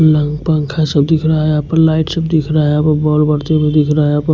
lung पंखा सब दिख रहा हैयहां पर लाइट सब दिख रहा है यहा पर बल्ब बढ़ते हुए दिख रहा है यहाँ पर--